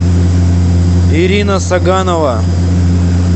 ирина саганова